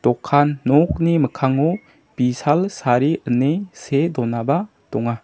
okan nokni mikkango bisal sari ine see donaba donga.